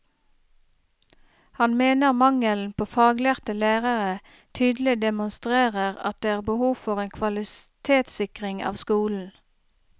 Han mener mangelen på faglærte lærere tydelig demonstrerer at det er behov for en kvalitetssikring av skolen.